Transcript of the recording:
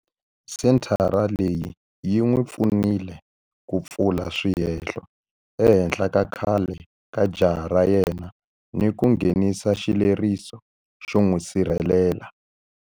Senthara leyi yi n'wi pfunile ku pfula swihehlo ehenhla ka khale ka jaha ra yena ni ku nghenisa xileriso xo n'wi sirhelela.